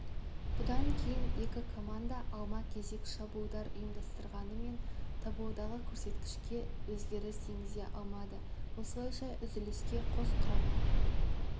бұдан кейін екі команда алма-кезек шабуылдар ұйымдастырғанымен таблодағы көрсеткішке өзгеріс енгізе алмады осылайша үзіліске қос құрама